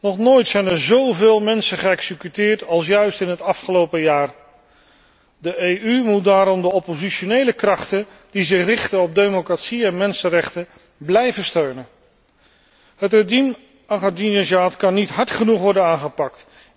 Nog nooit zijn er zoveel mensen geëxecuteerd als juist in het afgelopen jaar. De EU moet daarom de oppositionele krachten, die zich richten op democratie en mensenrechten, blijven steunen. Het regime van Ahmadinejad kan niet hard genoeg worden aangepakt.